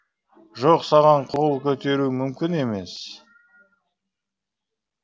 жоқ саған қол көтеруім мүмкін емес